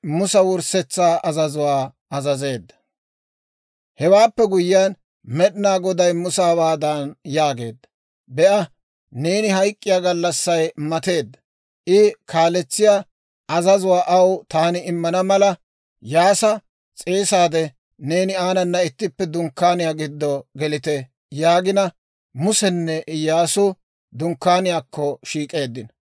Hewaappe guyyiyaan, Med'inaa Goday Musa hawaadan yaageedda; «Be'a, neeni hayk'k'iyaa gallassay mateedda. I kaalesettiyaa azazuwaa aw taani immana mala, Iyyaasa s'eesaade, neeni aanana ittippe Dunkkaaniyaa giddo gelite» yaagina, Musenne Iyyaasu Dunkkaaniyaakko shiik'eeddino.